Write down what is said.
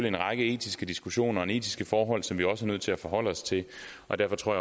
en række etiske diskussioner og nogle etiske forhold som vi også er nødt til at forholde os til og derfor tror